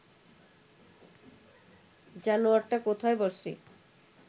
জানোয়ারটা কোথায় বসে